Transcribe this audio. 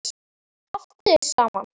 Haltu þér saman